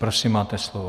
Prosím, máte slovo.